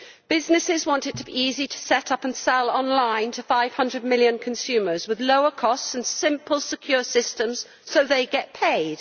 Businesses want it to be easy to set up and sell on line to 500 million consumers with lower costs and simple secure systems so that they get paid.